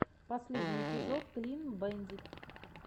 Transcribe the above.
последний эпизод клин бэндит